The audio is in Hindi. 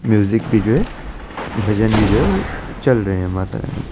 म्यूजिक भी जो है भजन भी जो है चल रहे है माता रानी के --